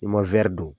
I ma don